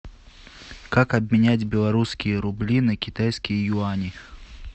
как обменять белорусские рубли на китайские юани